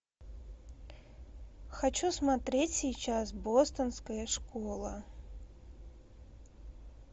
хочу смотреть сейчас бостонская школа